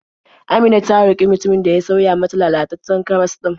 Amina ta roƙi mutumin da ya sauya mata lalataccen karas ɗin.